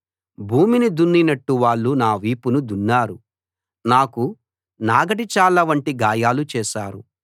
భూమిని దున్నినట్టు వాళ్ళు నా వీపును దున్నారు నాకు నాగటి చాళ్ళవంటి గాయాలు చేశారు